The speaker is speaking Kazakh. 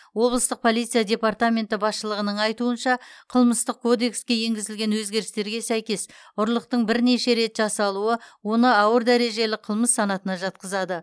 облыстық полиция департаменті басшылығының айтуынша қылмыстық кодекске енгізілген өзгерістерге сәйкес ұрлықтың бірнеше рет жасалуы оны ауыр дәрежелі қылмыс санатына жатқызады